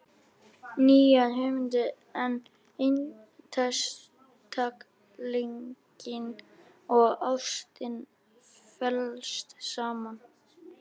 Nýjar hugmyndir um einstaklinginn og ástina fléttast saman.